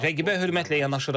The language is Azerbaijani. Rəqibə hörmətlə yanaşırıq.